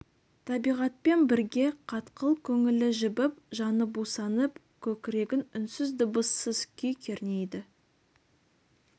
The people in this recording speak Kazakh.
табиғатпен бірге қатқыл көңілі жібіп жаны бусанып көкірегін үнсіз дыбыссыз күй кернейді